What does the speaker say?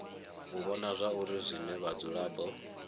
u vhona zwauri zwine vhadzulapo